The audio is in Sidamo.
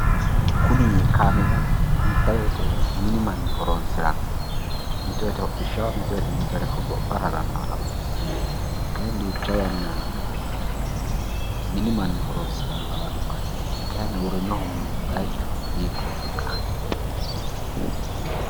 Kuni kameela duucha woyiite mini manni horonsiranno mito woyiite hodhisshshaho mito woyiite mitore hogophara harannoha lawanno"e kayeenni duucha woyiite mini manni horonsirannoha lawanno"e kayeenni uurrinohu bayiichu hiikkotikka?